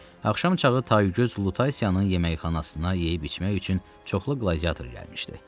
Axşam çağı taygöz Lutasiyanın yeməkxanasına yeyib-içmək üçün çoxlu qladiator gəlmişdi.